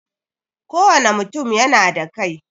Kowane mutum yana da kai.